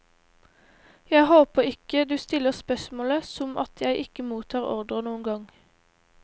Jeg håper ikke du stiller spørsmålet som at jeg ikke mottar ordrer noen gang.